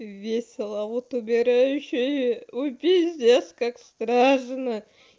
весело вот убираю ещё и пиздец как страшно